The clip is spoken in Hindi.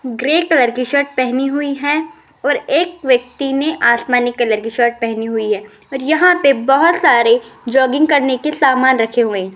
ग्रे कलर की शर्ट पहनी हुई हैं और एक व्यक्ति ने आसमानी कलर की शर्ट पहनी हुई है और यहां पे बहोत सारे जोगिंग करने के सामान रखे हुए हैं।